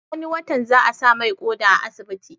Wani watan za a sa mai ƙoda a asibiti